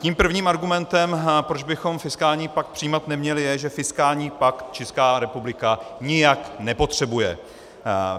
Tím prvním argumentem, proč bychom fiskální pakt přijímat neměli, je, že fiskální pakt Česká republika nijak nepotřebuje.